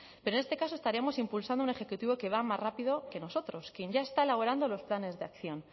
pero en este caso estaríamos impulsando un ejecutivo que va más rápido que nosotros quien ya está elaborando los planes de acción